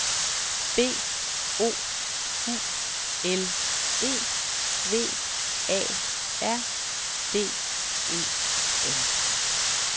B O U L E V A R D E N